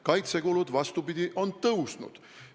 Kaitsekulud, vastupidi, on suurenenud.